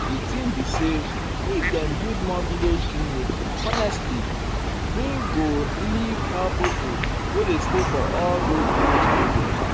di thing be say if dem build more village clinic honestly[um]e go really help pipo wey dey stay for all those village area.